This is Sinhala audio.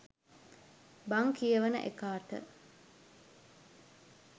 බං කියවන එකාට